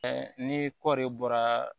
ni kɔɔri bɔra